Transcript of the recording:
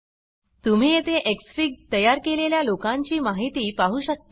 तुम्ही येथे एक्सफिग तयार केलेल्या लोकांची माहिती पाहु शकता